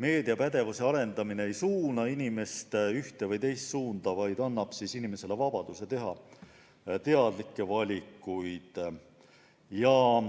meediapädevuse arendamine ei suuna inimest ühes või teises suunas, vaid annab inimestele vabaduse teha teadlikke valikuid.